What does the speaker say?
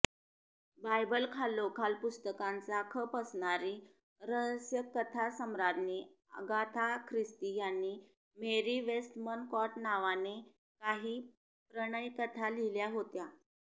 बायबलखालोखाल पुस्तकांचा खप असणारी रहस्यकथासम्राज्ञी अगाथा ख्रिस्ती यांनी मेरी वेस्टमनकॉट नावाने काही प्रणयकथा लिहिल्या होत्या